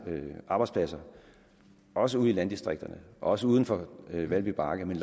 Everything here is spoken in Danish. arbejdspladser også ude i landdistrikterne og også uden for valby bakke men